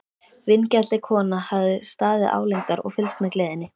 Vingjarnleg kona hafði staðið álengdar og fylgst með gleðinni.